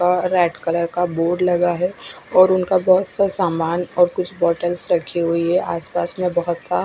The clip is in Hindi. अ- रेड कलर का एक बोर्ड लगा है और उनका बोहोत से सामान और कुछ बोटल्स रखी हुई है।